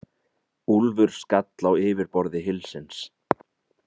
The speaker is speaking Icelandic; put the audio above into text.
Úlfur skall á yfirborði hylsins.